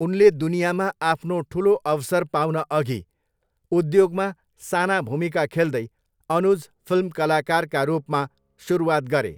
उनले दुनियाँमा आफ्नो ठुलो अवसर पाउनअघि उद्योगमा साना भूमिका खेल्दै अनुज फिल्म कलाकारका रूपमा सुरुवात गरे।